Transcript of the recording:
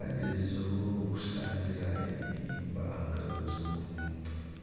agyerizeho kushangira ebihimba aha ngaro zogu omuntu.